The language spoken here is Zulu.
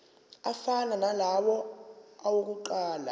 afana nalawo awokuqala